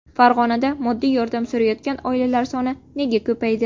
Farg‘onada moddiy yordam so‘rayotgan oilalar soni nega ko‘paydi?.